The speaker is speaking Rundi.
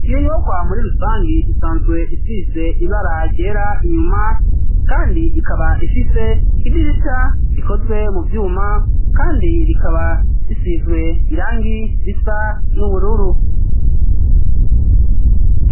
iyo nyubakwa muri rusangi isanzwe isize ibara ryera inyuma, kandi ikaba ifise idirisha rikozwe mu vyuma kandi rikaba risizwe irangi risa n'ubururu.